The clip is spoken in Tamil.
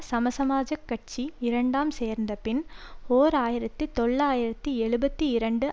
சமசமாஜக் கட்சி இரண்டாம் சேர்ந்தபின் ஓர் ஆயிரத்தி தொள்ளாயிரத்தி எழுபத்தி இரண்டு